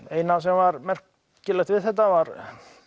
eina sem var merkilegt við þetta var